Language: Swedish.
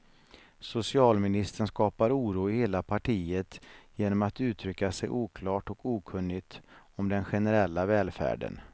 Socialministern skapar oro i hela partiet genom att uttrycka sig oklart och okunnigt om den generella välfärden.